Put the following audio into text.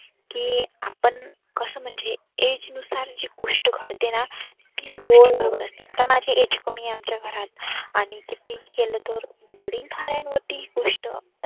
की आपण कस म्हणजे age नुसार जी गोष्ट घडतेना आता माझी age कमी आमच्या घरात. आणि किती ही केलं तर वडील धाऱ्यांवरती ही गोष्ट असते.